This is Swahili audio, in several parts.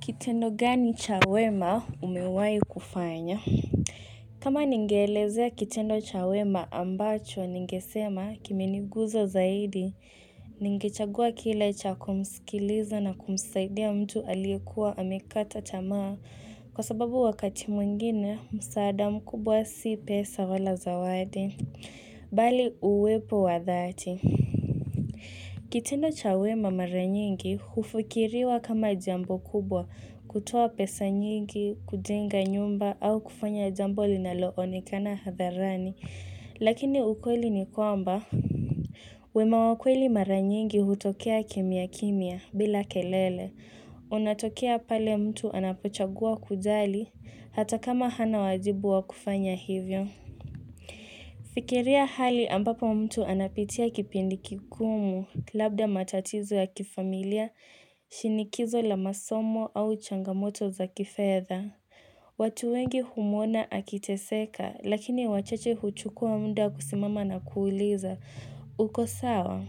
Kitendo gani cha wema umewai kufanya? Kama ningeelezea kitendo cha wema ambacho ningesema kimenigusa zaidi, ningechagua kile cha kumskiliza na kumsaidia mtu aliyekuwa amekata tamaa kwa sababu wakati mwengine msaada mkubwa si pesa wala zawadi, bali uwepo wa dhaati. Kitendo cha wema mara nyingi, hufikiriwa kama jambo kubwa, kutoa pesa nyingi, kujenga nyumba au kufanya jambo linalo onekana hadharani, lakini ukweli ni kwamba. Wema wa kweli mara nyingi hutokea kimya kimya bila kelele. Unatokea pale mtu anapochagua kujali, hata kama hana wajibu wa kufanya hivyo. Fikiria hali ambapo mtu anapitia kipindi kigumu, labda matatizo ya kifamilia, shinikizo la masomo au changamoto za kifedha. Watu wengi humuona akiteseka, lakini wachache huchukua muda kusimama na kuuliza. Uko sawa?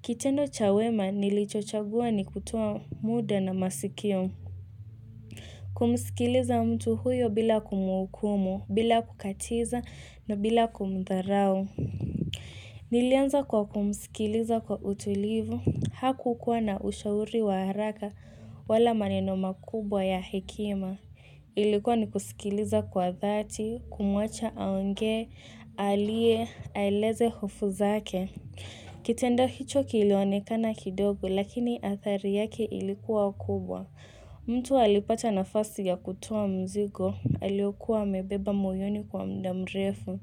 Kitendo cha wema nilichochagua ni kutoa muda na masikio. Kumsikiliza mtu huyo bila kumuhukumu, bila kukatiza na bila kumdharau. Nilianza kwa kumusikiliza kwa utulivu, haku kuwa na ushauri wa haraka wala maneno makubwa ya hekima. Ilikuwa ni kusikiliza kwa dhati, kumwacha aongee, alie, aeleze hofu zake. Kitendo hicho kilionekana kidogo, lakini athari yake ilikuwa kubwa. Mtu alipata nafasi ya kutoa mzigo, aliokuwa amebeba moyoni kwa muda mrefu.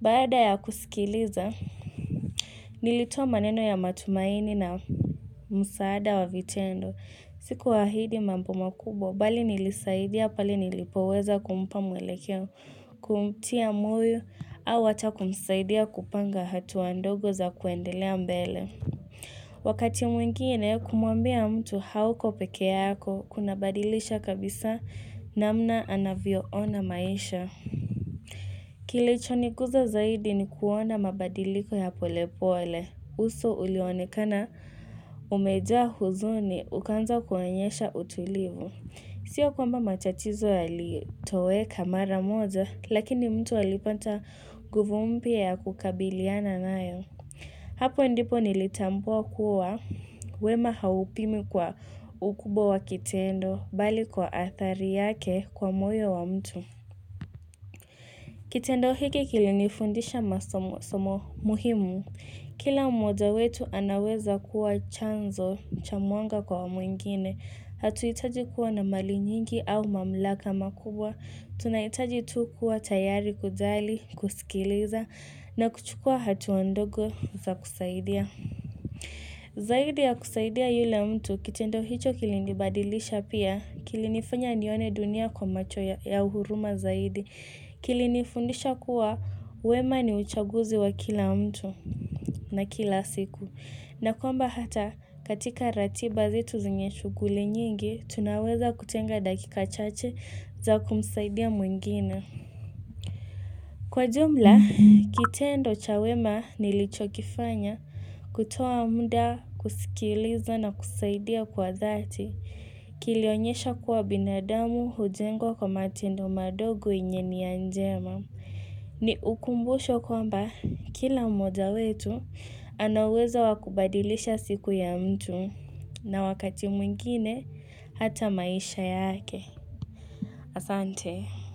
Baada ya kusikiliza, nilitoa maneno ya matumaini na msaada wa vitendo. Sikuahidi mambo makubwa, bali nilisaidia pale nilipoweza kumpa mwelekeo, kumtia moyo au hata kumsaidia kupanga hatua ndogo za kuendelea mbele. Wakati mwingine kumuambia mtu hauko peke yako kuna badilisha kabisa namna anavyo ona maisha Kilicho niguza zaidi ni kuona mabadiliko ya pole pole uso ulionekana umejaa huzuni ukaanza kuonyesha utulivu Sio kwamba mtatizo yalitoweka mara moja lakini mtu alipata nguvu mpya ya kukabiliana nayo Hapo ndipo nilitambua kuwa wema haupimwi kwa ukubwa wa kitendo bali kwa athari yake kwa moyo wa mtu. Kitendo hiki kilinifundisha masomo muhimu. Kila mmoja wetu anaweza kuwa chanzo cha mwanga kwa mwingine. Hatuhitaji kuwa na mali nyingi au mamlaka makubwa. Tunahitaji tu kuwa tayari kujali, kusikiliza na kuchukua hatua ndogo za kusaidia. Zaidi ya kusaidia yule mtu kitendo hicho kilinibadilisha pia kilinifanya nione dunia kwa macho ya huruma zaidi kilinifundisha kuwa wema ni uchaguzi wa kila mtu na kila siku na kwamba hata katika ratiba zetu zenye shughuli nyingi tunaweza kutenga dakika chache za kumsaidia mwingine. Kwa jumla, kitendo cha wema nilichokifanya kutoa muda kusikiliza na kusaidia kwa dhati. Kilionyesha kuwa binadamu hujengwa kwa matendo madogo yenye nia njema. Ni ukumbusho kwamba kila mmoja wetu ana uwezo wa kubadilisha siku ya mtu na wakati mwingine hata maisha yake. Asante.